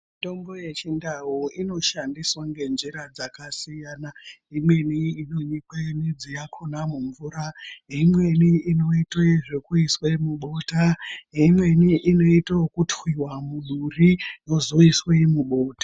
Mitombo yechindau inoshandiswa ngenjira dzakasiyana imweni inonyikwe midzi yakona mumvura, imweni inoitwe zvekuiswa mubota, imweni inoitwe okutwiwa muduri yozoiswe mubota.